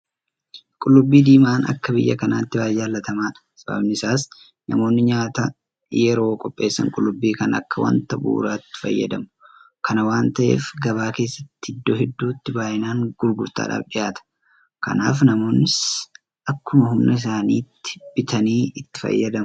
Qullubbii diimaan akka biyya kanaatti baay'ee jaalatamaadha. Sababiin isaas namoonni nyaata yeroo qopheessan Qullubbii kana akka wanta bu'uuraatti itti fayyadamu. Kana waan ta'eef gabaa keessatti iddoo hedduutti baay'inaan gurgurtaadhaaf dhiyaata. Kanaaf namoonnis akkuma humna isaaniitti bitatanii itti fayyadamu.